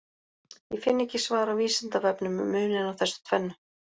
Ég finn ekki svar á Vísindavefnum um muninn á þessu tvennu.